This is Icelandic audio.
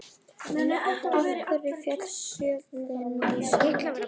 Af hverju féll Fjölnir í sumar?